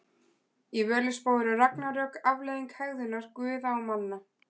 Í Völuspá eru ragnarök afleiðing hegðunar guða og manna.